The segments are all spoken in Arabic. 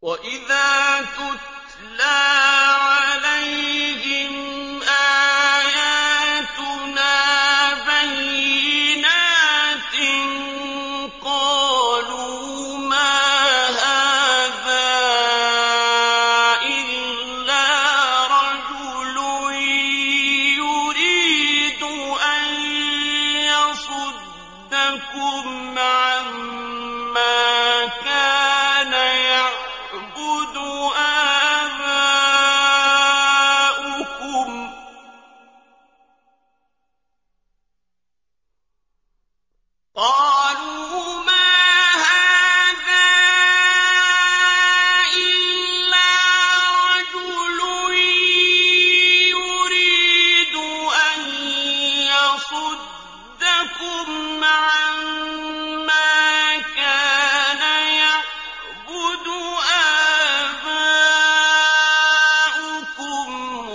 وَإِذَا تُتْلَىٰ عَلَيْهِمْ آيَاتُنَا بَيِّنَاتٍ قَالُوا مَا هَٰذَا إِلَّا رَجُلٌ يُرِيدُ أَن يَصُدَّكُمْ عَمَّا كَانَ يَعْبُدُ آبَاؤُكُمْ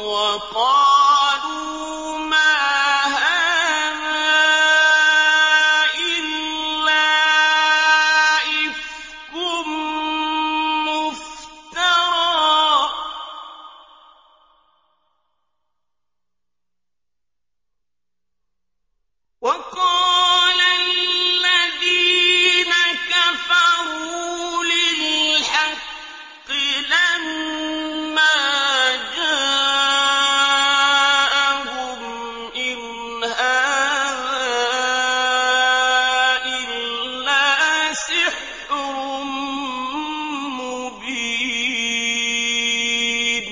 وَقَالُوا مَا هَٰذَا إِلَّا إِفْكٌ مُّفْتَرًى ۚ وَقَالَ الَّذِينَ كَفَرُوا لِلْحَقِّ لَمَّا جَاءَهُمْ إِنْ هَٰذَا إِلَّا سِحْرٌ مُّبِينٌ